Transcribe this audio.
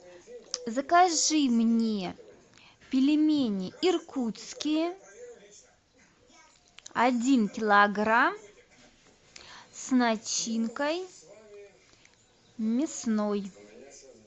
закажи мне пельмени иркутские один килограмм с начинкой мясной